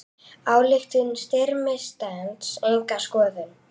Ályktun Styrmis stenst enga skoðun.